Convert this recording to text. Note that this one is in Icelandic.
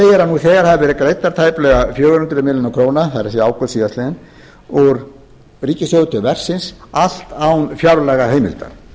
að nú þegar hafi verið greiddar tæplega fjögur hundruð milljóna króna það er ágúst síðastliðinn úr ríkissjóði til verksins allt án fjárlagaheimilda